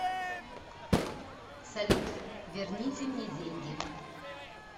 салют верните мне деньги